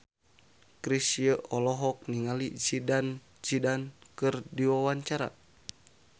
Chrisye olohok ningali Zidane Zidane keur diwawancara